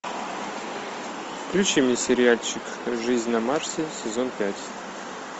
включи мне сериальчик жизнь на марсе сезон пять